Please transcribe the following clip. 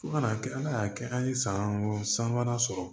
Fo ka n'a kɛ ala y'a kɛ an ye san wɔɔrɔ san wɛrɛ sɔrɔ